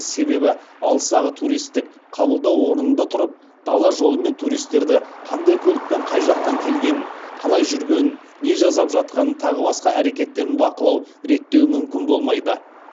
себебі алыстағы туристік қабылдау орында тұрып дала жолымен туристердің қандай көлікпен қай жақтан келгенін қалай жүргенін не жасап жатқанын тағы басқа әрекеттерін бақылау реттеу мүмкін болмайды